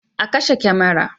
A kashe kamara